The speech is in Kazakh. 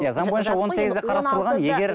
иә заң бойынша он сегізде қарастырылған егер